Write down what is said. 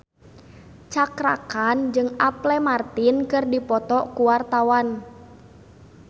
Cakra Khan jeung Apple Martin keur dipoto ku wartawan